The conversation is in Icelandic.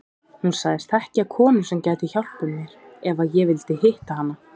Hún sagðist þekkja konu sem gæti hjálpað mér ef ég vildi hitta hana.